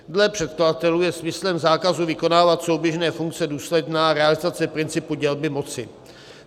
Dle předkladatelů je smyslem zákazu vykonávat souběžné funkce důsledná realizace principu dělby moci.